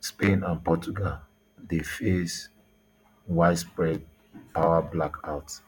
spain and portugal dey face widespread power blackout